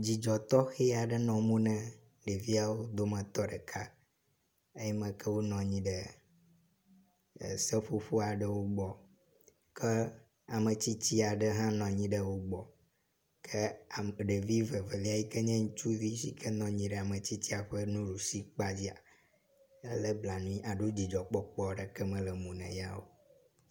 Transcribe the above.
Dzidzɔ tɔxe aɖe nɔ mo na ɖeviawo dometɔ ɖeka eyime ke wonɔ anyi ɖe seƒoƒo aɖe gbɔ ke ame tsitsi aɖe hã nɔ anyi ɖe wo gbɔ ke ɖevi vevelia si nye ŋutsuvi si ke nɔ anyi ɖe ame tsitsa ƒe nuɖusikpadzia ele blanui alo dzidzɔkpɔkpɔ aɖeke me le mo na ya o.